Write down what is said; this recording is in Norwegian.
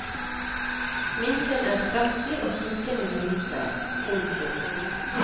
Sminken er kraftig og smykkene glinser. punktum